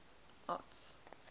arts